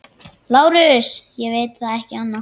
LÁRUS: Ég veit ekki annað.